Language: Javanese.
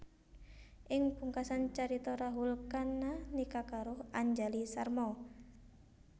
Ing pungkasan carita Rahul Khanna nikah karo Anjali Sharma